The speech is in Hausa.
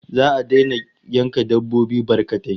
Za'a daina yanka dabbobi barkatai